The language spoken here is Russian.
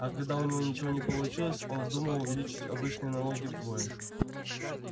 а когда у него ничего не получилось он вздумал увеличить обычные налоги вдвое